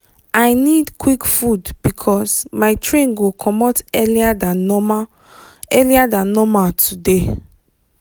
i need quick food because my train go comot earlier than normal earlier than normal today.